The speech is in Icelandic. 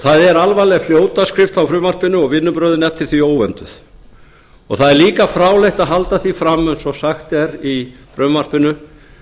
það er alvarleg fljótaskrift á frumvarpinu og vinnubrögðin eftir því óvönduð það er líka fráleitt að halda því fram eins og sagt er í frumvarpinu